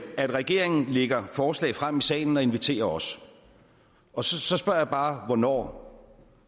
at regeringen lægger forslag frem i salen og inviterer os og så så spørger jeg bare hvornår